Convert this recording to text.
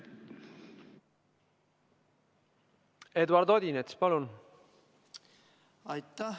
Eduard Odinets, palun!